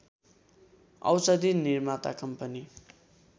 औषधि निर्माता कम्पनी